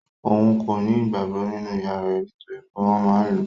Òun kò ní ìgbàgbọ nínú ìyá rẹ̀ nitoripe wọn máa n lu.